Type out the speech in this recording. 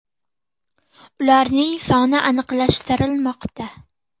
Ularning soni aniqlashtirilmoqda.